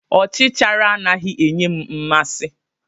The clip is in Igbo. Ọchichara anaghị enye m mmasị.